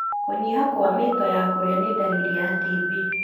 Kũnyiha kwa mĩto ya kũria nĩ ndaririr ya TB.